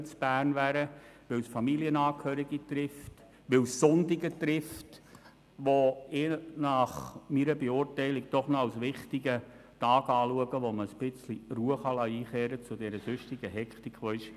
Es trifft auch die Familienangehörigen, weil der Sonntag meiner Einschätzung nach noch ein wichtiger Tag ist, an dem Ruhe vom sonst hektischen Alltag einkehren kann.